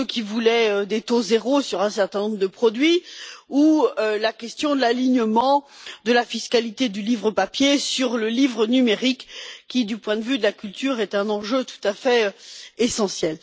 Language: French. la question des taux zéro sur un certain nombre de produits ou l'alignement de la fiscalité du livre papier sur le livre numérique qui, du point de vue de la culture, est un enjeu tout à fait essentiel.